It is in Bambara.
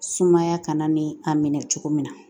Sumaya kana ni a minɛ cogo min na